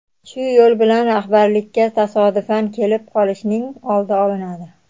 Shu yo‘l bilan rahbarlikka tasodifan kelib qolishning oldi olinadi.